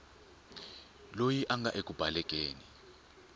loyi a nga eku balekeni